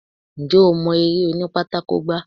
Ǹjẹ́ o mọ eré òní pátákó gbá?